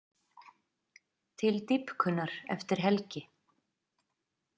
Til dýpkunar eftir helgi